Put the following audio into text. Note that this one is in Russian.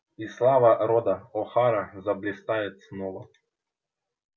и слава рода охара заблистает снова